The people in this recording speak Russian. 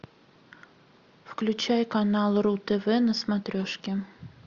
включай канал ру тв на смотрешке